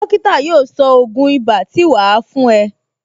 Dókítà yóò sọ ògún ibà tí wà á fún ẹ